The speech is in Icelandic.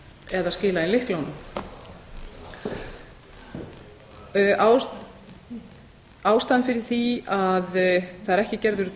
eða skila inn lyklunum ástæðan fyrir því er að það er ekki gerður